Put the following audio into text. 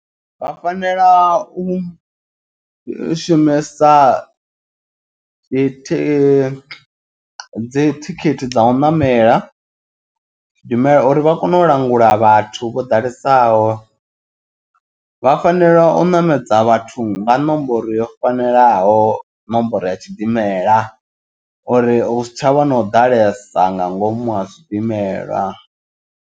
Vha fanela u shumesa dzi dzi thikhithi dza u ṋamela zwidimela uri vha kone u langula vhathu vho ḓalesaho. Vha fanela u ṋamedza vhathu nga ṋomboro yo fanelaho ṋomboro ya tshidimela uri hu si tshavha na u ḓalesa nga ngomu ha tshidimela.